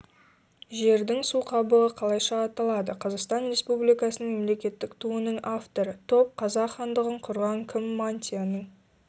жердің су қабығы қалайша аталады қазақстан республикасының мемлекеттік туының авторы топ қазақ хандығын құрған кім мантияның